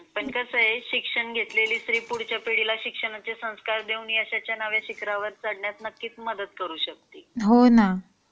पण कसा आहे शिक्षण घेतलेली स्त्री पुढच्या पिढीला ते शिक्षणाचे संस्कार देऊन यशाचे नावे शिखरावर चढण्यात नक्कीच मदत करू शकते .